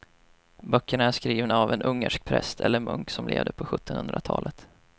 Böckerna är skrivna av en ungersk präst eller munk som levde på sjuttonhundratalet.